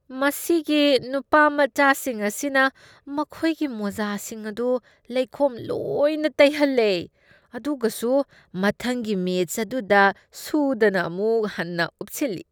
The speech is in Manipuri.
ꯃꯁꯤꯒꯤ ꯅꯨꯄꯥ ꯃꯆꯥꯁꯤꯡ ꯑꯁꯤꯅ ꯃꯈꯣꯏꯒꯤ ꯃꯣꯖꯥꯁꯤꯡ ꯑꯗꯨ ꯂꯩꯈꯣꯝ ꯂꯣꯏꯅ ꯇꯩꯍꯜꯂꯦ ꯑꯗꯨꯒꯁꯨ ꯃꯊꯪꯒꯤ ꯃꯦꯆ ꯑꯗꯨꯗ ꯁꯨꯗꯅ ꯑꯃꯨꯛ ꯍꯟꯅ ꯎꯞꯁꯤꯜꯂꯤ꯫